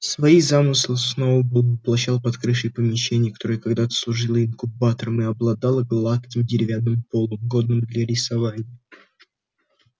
свои замыслы сноуболл воплощал под крышей помещения которое когда-то служило инкубатором и обладало гладким деревянным полом годным для рисования